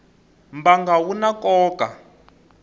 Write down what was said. mbangu wu na nkoka